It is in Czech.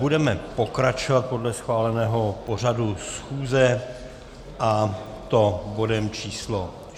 Budeme pokračovat podle schváleného pořadu schůze, a to bodem číslo